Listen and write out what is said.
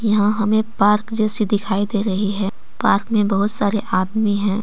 यहां हमें पार्क जैसी दिखाई दे रही है पार्क में बहुत सारे आदमी हैं।